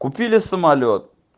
купили самолёт